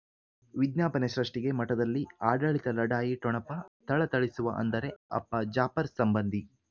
ವಿಜ್ಞಾಪನೆ ಸೃಷ್ಟಿಗೆ ಮಠದಲ್ಲಿ ಆಡಳಿತ ಲಢಾಯಿ ಠೊಣಪ ಥಳಥಳಿಸುವ ಅಂದರೆ ಅಪ್ಪ ಜಾಫರ್ ಸಂಬಂಧಿ